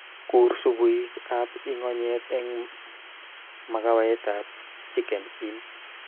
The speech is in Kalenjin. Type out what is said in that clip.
Kur supuik ab ingonyet eng makawetab chicken inn